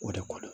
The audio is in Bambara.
O de ko don